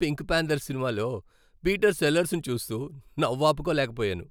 Pink panther సినిమాలో Peter సెల్లర్స్ను చూస్తూ నవ్వు ఆపుకోలేకపోయాను.